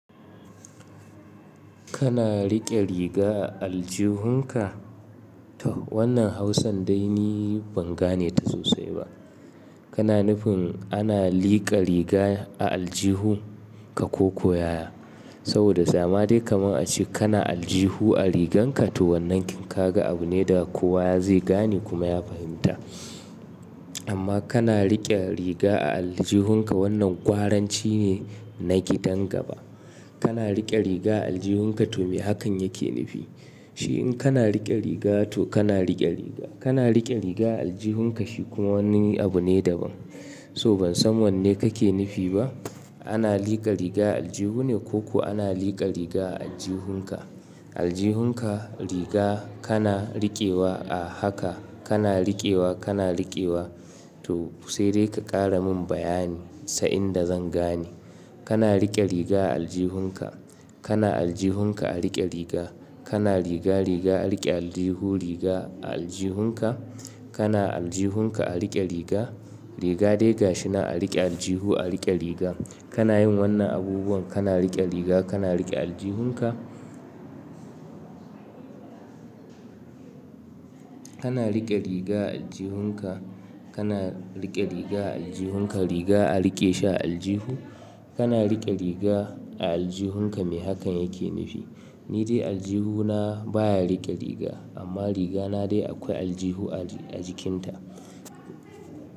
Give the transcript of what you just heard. Kana rike riga a aljihunka? To wannan Hausan dai ni ban gane ta sosai ba. Kana nufin ana liƙa riga a aljihun ka koko yaya? Saboda da madai kaman ace kana aljihu a rigan ka to wannan toh kaga abu ne da kowa zai gane kuma ya fahimta. Amma kana riƙe riga a aljihunka wannan ƙwaranci ne na gidan gaba. Kana riƙe riga a aljihunka to me hakan yake nufi? Shi in kana riƙe riga to kana riƙe riga. Kana riƙe riga a aljihunka shi kuma wani abu ne daban. Toh ban san wanne kake nufi ba. Ana liƙa riga aljihu ne ko ku ana liƙa riga a aljihun ka? Aljihun ka riga kana riƙewa a haka kana riƙewa kana riƙewa to sai dai ka ƙara min bayani sa'inda zan gane. Kana riƙe riga a aljihunka, kana aljihun ka a riƙe riga, kana riga riga a riƙe aljihu riga a aljihun ka, kana aljihunka a riƙe riga, riga dai gashi na a riƙe aljihu a riƙe riga. Kana yin wannan abubuwan kana riƙe riga kana riƙe aljihun ka? Kana riƙe riga a aljihun ka, kana riƙe riga a aljihun ka, riga a riƙe shi a aljihu, kana riƙe riga a aljihun ka me hakan yake nufi? Ni dai aljihu na baya riƙe riga amma riga na dai akwai aljihu a jikin ta.